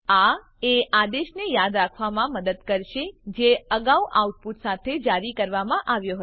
આ એ આદેશને યાદ રાખવામાં મદદ કરશે જે અગાઉ આઉટપુટ સાથે જારી કરવામાં આવ્યો હતો